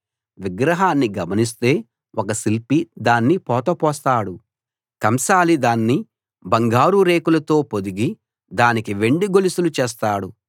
విగ్రహాన్ని గమనిస్తే ఒక శిల్పి దాన్ని పోతపోస్తాడు కంసాలి దాన్ని బంగారు రేకులతో పొదిగి దానికి వెండి గొలుసులు చేస్తాడు